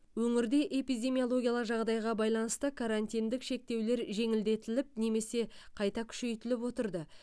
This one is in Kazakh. өңірде эпидемиялогиялық жағдайға байланысты карантинтік шектеулер жеңілдетіліп немесе қайта күшейтіліп отырды